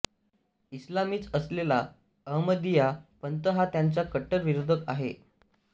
इस्लामीच असलेला अहमदिया पंथ हा त्यांचा कट्टर विरोधक आहे